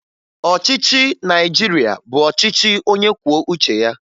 Ọchịchị Naịjirịa bụ ọchịchị onyekwuoucheya